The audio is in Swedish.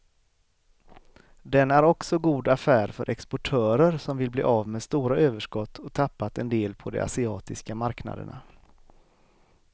Den är också god affär för exportörer som vill bli av med stora överskott och tappat en del på de asiatiska marknaderna.